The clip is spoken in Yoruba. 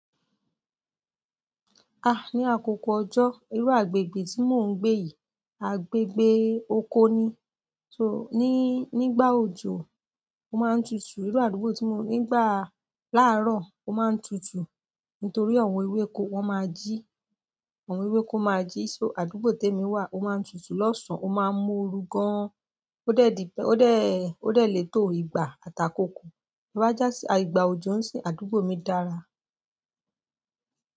Ah! Ni àkókò ọjọ́, irú àgbègbè tí mò ń gbé yìí, agbègbè oko ni, tó ní nígbà òjò ó máa ń tutù. Irú àdúgbò tí mò ńigba láàárọ̀ ó máa ń tutù nítorí àwọn ewéko, wọ́n máa jí, àwọn ewéko máa jí, só àdúgbò tèmi wà ó máa ń tutù lọ́sàn, ó máa ń mú oru gan an. Ó dé lè tó ìgbà àtàkókò. Bá já sí, à ìgbà òjò ń sìn, àdúgbò mi dára.